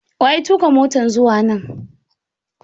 Wa ya tuka motan zuwa nan?